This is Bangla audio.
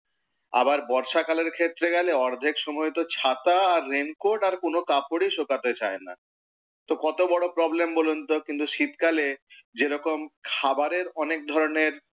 আবার বর্ষাকালের ক্ষেত্রে অর্ধেক সময় তো ছাতা আর রেনকোর্ট আর কোন কাপড়ই শোকাতে চায় না। তো কত বড় প্রবলেম বলুন তো। কিন্তু শীতকালে যেরকম খাবারের অনেক ধরণের,